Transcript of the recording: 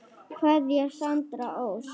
Kveðja Sandra Ósk.